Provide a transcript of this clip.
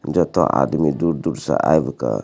जेतो आदमी दूर-दूर से आयवका।